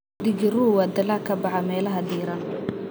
Digiruhu waa dalag ka baxa meelaha diiran.